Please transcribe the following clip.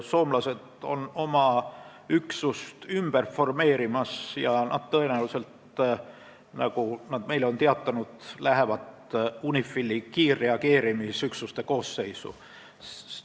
Soomlased formeerivad oma üksust ümber ja tõenäoliselt lähevad nad UNIFIL-i kiirreageerimisüksuste koosseisu, nagu nad on meile teatanud.